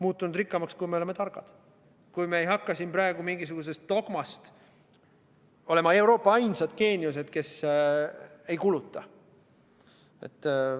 Aga seda üksnes juhul, kui me oleme targad ega hakka siin praegu lähtuma mingisugusest dogmast, et oleme Euroopa ainsad geeniused, kes ei kuluta.